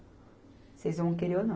Vocês vão querer ou não?